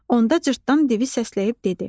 Onda cırtdan divi səsləyib dedi: